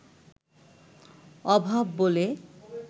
অভাব বলে